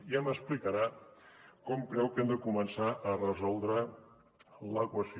ja m’explicarà com creu que hem de començar a resoldre l’equació